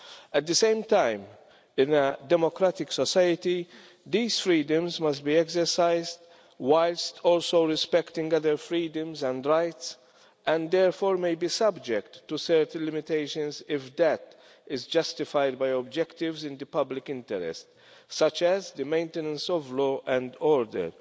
At the same time, in a democratic society these freedoms must be exercised whilst also respecting other freedoms and rights, and therefore may be subject to certain limitations if that is justified by objectives in the public interest, such as the maintenance of law and order.